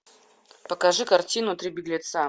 покажи картину три беглеца